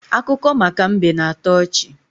Akụkọ maka mbe na-atọ ọchị.